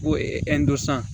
Ko